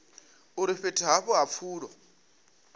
uri fhethu havho ha pfulo